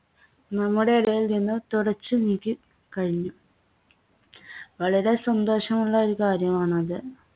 നമ്മുടെയിടയിൽനിന്ന് തുടച്ചു നീക്കി കഴിഞ്ഞു. വളരെ സന്തോഷമുള്ള ഒരു കാര്യമാണത്.